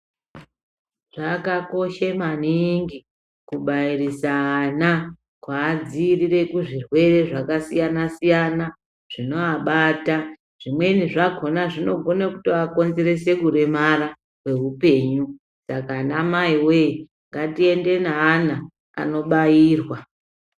Zvakakoshe maningi kubairise ana kuadziirire kuzvirwere zvakasiyana-siyana zvinoabata. Zvimweni zvakhona zvinogone kutoakonzerese kuremara kweupenyu. Saka anamaiwee ngatiende neana anobairwa.